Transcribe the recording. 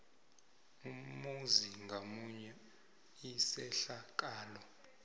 umzuzi ngamunye isehlakalo